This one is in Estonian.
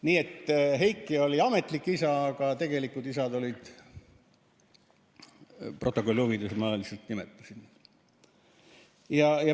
Nii et Heiki oli ametlik isa, aga tegelikud isad protokolli huvides ma lihtsalt nimetasin.